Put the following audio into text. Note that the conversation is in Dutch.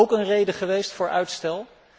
Was dat ook een reden geweest voor uitstel?